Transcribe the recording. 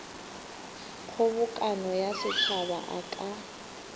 kgobokano ya setšhaba a ka